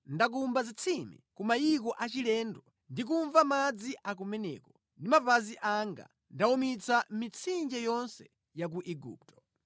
Ndakumba zitsime ku mayiko achilendo ndi kumva madzi akumeneko ndi mapazi anga ndawumitsa mitsinje yonse ya ku Igupto.’